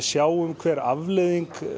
sjáum hver afleiðing